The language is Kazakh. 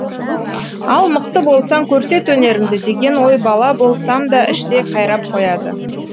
ал мықты болсаң көрсет өнеріңді деген ой бала болсам да іштей қайрап қояды